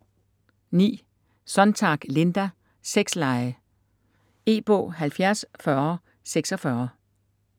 Sonntag, Linda: Sexlege E-bog 704046